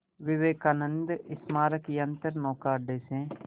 विवेकानंद स्मारक यंत्रनौका अड्डे से